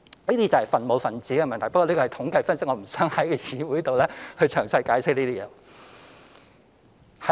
這是分母和分子的問題，不過這是統計分析，我不想在議會詳細解釋了。